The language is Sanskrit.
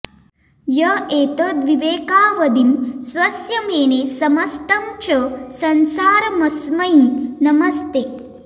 य एतद्विवेकावधिं स्वस्य मेने समस्तं च संसारमस्मै नमस्ते